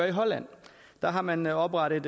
i holland der har man oprettet